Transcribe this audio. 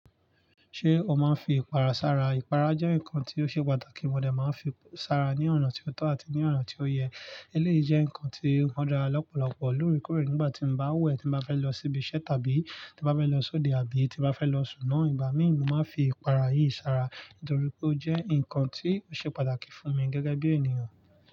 Ṣé o máa ń fi ìpara sára? Ìpara jẹ́ nǹkan tí ó ṣe pàtàkì, mo dà máa ń fi sára ní ọ̀naa tí ó tọ́ àti ní ọ̀nàa tí ó yẹ. Eleyi jẹ́ ǹkan tí ó dara lọ́pọ̀lọpọ̀ lóorekóorè nígbà tí n bá wẹ̀, tí n bá fẹ́ lọ síbi iṣẹ́ tàbí tí bá fẹ́ lọ sóde àbí tí bá fẹ́ lọ sùn náà. Ìgbà míì ni mo máa ń fi ìpara yìí sára nítorí pé ó jẹ́ ǹkan tí ó ṣe pàtàkì fún mi gẹ́gẹ́ bí ènìyàn.